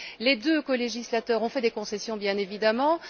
Les deux colégislateurs ont fait des concessions, bien entendu.